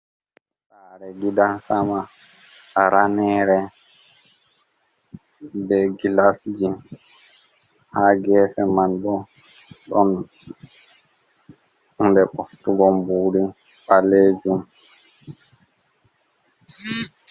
Sare gidan sama ranere be gilasji ha gefe man bo ɗon hunde ɓoftugo mburi ɓalejum.